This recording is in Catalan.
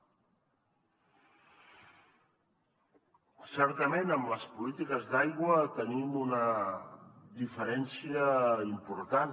certament en les polítiques d’aigua tenim una diferència important